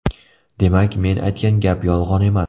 Demak, men aytgan gap yolg‘on emas.